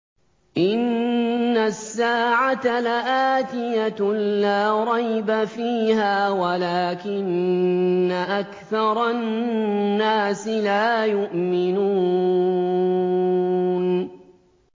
إِنَّ السَّاعَةَ لَآتِيَةٌ لَّا رَيْبَ فِيهَا وَلَٰكِنَّ أَكْثَرَ النَّاسِ لَا يُؤْمِنُونَ